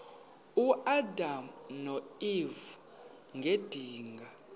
uadam noeva ngedinga